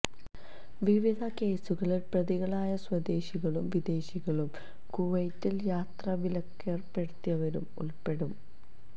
വിവിധ കേസുകളിൽ പ്രതികളായ സ്വദേശികളും വിദേശികളും കുവൈത്തിൽ യാത്രാവിലക്കേർപ്പെടിത്തിയവരിൽ ഉൾപ്പെ ടും